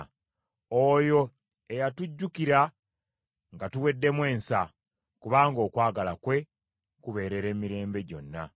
Oyo eyatujjukira nga tuweddemu ensa, kubanga okwagala kwe kubeerera emirembe gyonna.